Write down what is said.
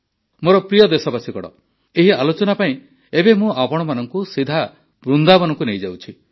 ମୋର ପ୍ରିୟ ଦେଶବାସୀଗଣ ଏହି ଆଲୋଚନା ପାଇଁ ଏବେ ମୁଁ ଆପଣମାନଙ୍କୁ ସିଧା ବୃନ୍ଦାବନକୁ ନେଇଯାଉଛି